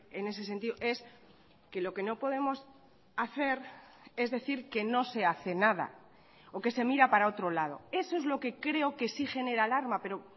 en ese sentido es que lo que no podemos hacer es decir que no se hace nada o que se mira para otro lado eso es lo que creo que sí genera alarma pero